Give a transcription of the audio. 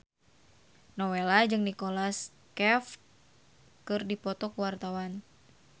Nowela jeung Nicholas Cafe keur dipoto ku wartawan